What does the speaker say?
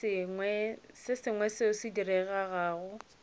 se sengwe seo se diregago